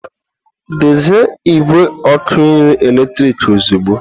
Dezie igwe ọkụ nri eletrik ozugbo!